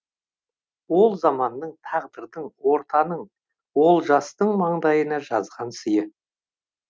ол заманның тағдырдың ортаның олжастың маңдайына жазған сыйы